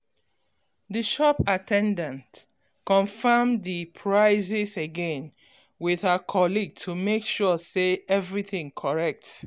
the shop at ten dant confirm the prices again with her colleague to make sure say everything correct